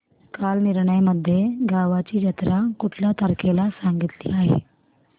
कालनिर्णय मध्ये गावाची जत्रा कुठल्या तारखेला सांगितली आहे